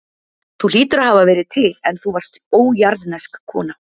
Þú hlýtur að hafa verið til, en þú varst ójarðnesk kona.